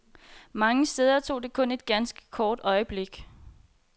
Mange steder tog det kun et ganske kort øjeblik.